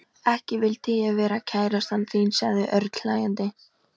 Sálm, svaraði Pétur og þurrkaði froðu úr rauðleitu skegginu.